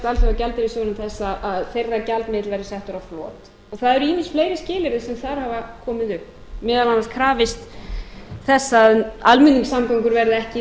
alþjóðagjaldeyrissjóðurinn þess að þeirra gjaldmiðill verði settur á flot og það eru ýmis fleiri skilyrði sem þar hafa komið upp meðal annars krafist þess að almenningssamgöngur verði ekki